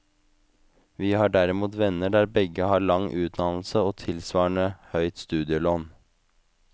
Vi har derimot venner der begge har lang utdannelse og tilsvarende høyt studielån.